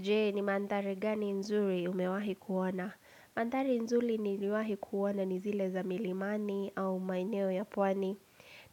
Jee ni mandhari gani nzuri umewahi kuona? Mandhari nzuri niliwahi kuona ni zile za milimani au maeneo ya pwani.